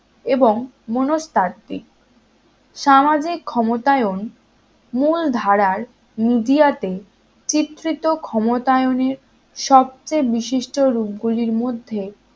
এবং মনস্তাত্ত্বিক সামাজিক ক্ষমতায়ন মূলধারার media তে চিত্রিত ক্ষমতায়নের সবচেয়ে বিশিষ্ট রূপগুলির মধ্যে